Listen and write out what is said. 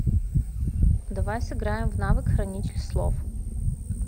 давай сыграем в навык хранитель слов